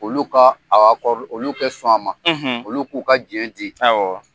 Olu ka a . Olu kɛ sɔn ma , olu k'u ka diɲɛ di